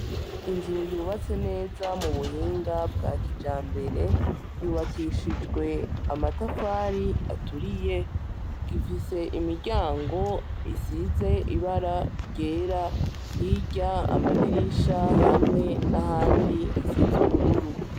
Inzu yubatse neza mubuhinga bwa kijambere, yubakishijwe amatafari aturiye , ifise imiryango isize ibara ryera , hirya amadirisha hamwe nahandi hasize ubururu.